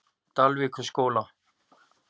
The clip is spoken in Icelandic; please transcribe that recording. Dalvíkurskóla